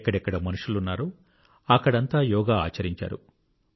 ఎక్కడెక్కడ మనుషులున్నారో అక్కడంతా యోగా ఆచరించారు